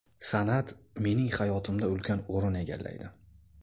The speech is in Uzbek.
San’at mening hayotimda ulkan o‘rin egallaydi.